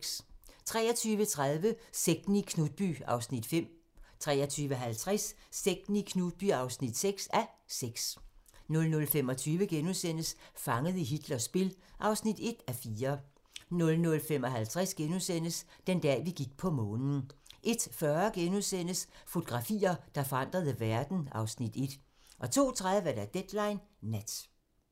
23:30: Sekten i Knutby (5:6) 23:50: Sekten i Knutby (6:6) 00:25: Fanget i Hitlers spil (1:4)* 00:55: Den dag, vi gik på Månen * 01:40: Fotografier, der forandrede verden (Afs. 1)* 02:30: Deadline Nat